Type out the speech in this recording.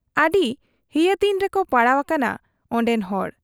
ᱟᱹᱰᱤ ᱦᱤᱭᱟᱹᱛᱤᱧ ᱨᱮᱠᱚ ᱯᱟᱲᱟᱣ ᱟᱠᱟᱱᱟ ᱯᱱᱰᱮᱱ ᱦᱚᱲ ᱾